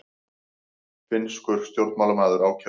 Finnskur stjórnmálamaður ákærður